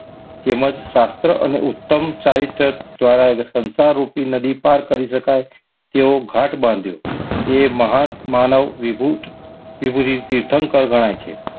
તેમજ શાસ્ત્ર અને ઉત્તમ ચારિત્ર દ્વારા સંસાર રૂપી નદી પારિ કરી શકાય. તેવો ગાંઠ બાંધ્યો તે મહાન માનવવિભૂત કે પરી તીર્થંકર ગણાય છે.